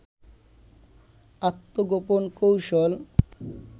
আত্মগোপন কৌশল